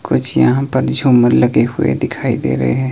कुछ यहां पर झूमर लगे हुए दिखाई दे रहे हैं।